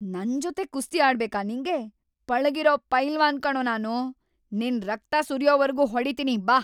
ನನ್ಜೊತೆ ಕುಸ್ತಿ ಆಡ್ಬೇಕಾ ನಿಂಗೆ?! ಪಳಗಿರೋ ಪೈಲ್ವಾನ್‌ ಕಣೋ ನಾನು! ನಿನ್ ರಕ್ತ ಸುರ್ಯೋವರ್ಗೂ ಹೊಡೀತಿನಿ ಬಾ.